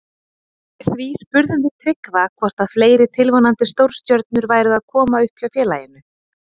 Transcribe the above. Því spurðum við Tryggva hvort að fleiri tilvonandi stórstjörnur væru að koma upp hjá félaginu.